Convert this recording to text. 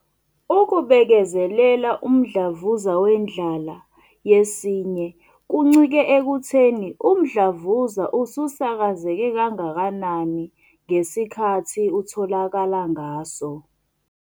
ukubekezelela umdlavuza wendlala yesinye kuncike ekutheni umdlavuza ususakazeke kangakanani ngesikhathi utholakala ngaso.